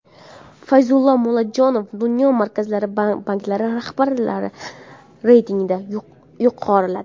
Fayzulla Mullajonov dunyo markaziy banklari rahbarlari reytingida yuqoriladi.